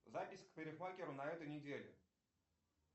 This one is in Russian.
запись к парикмахеру на этой неделе